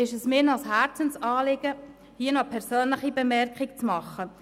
Es ist mir ein Herzensanliegen, hierzu eine persönliche Bemerkung zu machen: